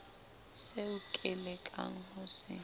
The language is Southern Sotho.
seo ke lekang ho se